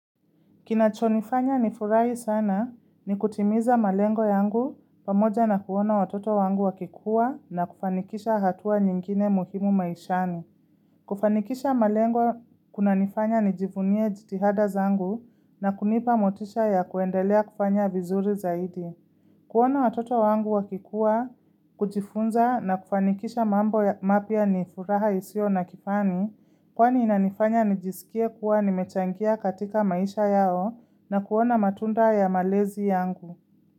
Kinachonifanya nifurahi sana ni kutimiza malengo yangu pamoja na kuona watoto wangu wakikuwa na kufanikisha hatua nyingine muhimu maishani. Kufanikisha malengo kuna nifanya nijivunie jitihada zangu na kunipa motisha ya kuendelea kufanya vizuri zaidi. Kuona watoto wangu wakikua, kujifunza na kufanikisha mambo ya mapya ni furaha isiyo na kifani, kwani inanifanya nijisikia kuwa nimechangia katika maisha yao na kuona matunda ya malezi yangu.